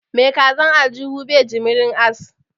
Mai kazan aljuhu bai jimirin ass